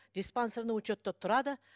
диспансерный учетта тұрады